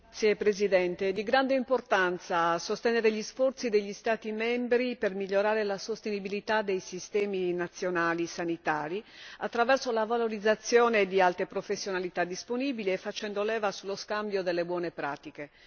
È di grande importanza sostenere gli sforzi degli Stati membri per migliorare la sostenibilità dei sistemi nazionali sanitari attraverso la valorizzazione di altre professionalità disponibili e facendo leva sullo scambio delle buone pratiche.